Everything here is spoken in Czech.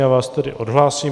Já vás tedy odhlásím.